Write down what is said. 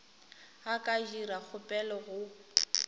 a ka dira kgopelo go